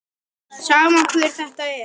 Sama hver þetta er.